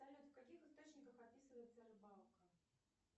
салют в каких источниках описывается рыбалка